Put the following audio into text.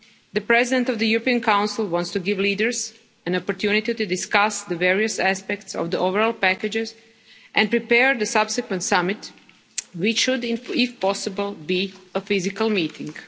The President of the European Council wants to give leaders an opportunity to discuss the various aspects of the overall packages and prepare the subsequent summit, which should, if possible, be a physical meeting.